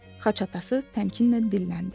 Xaç atası təmkinlə dilləndi.